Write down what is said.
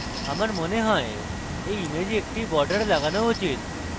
আমার মনে হয় এই image একটি border লাগানো উচিত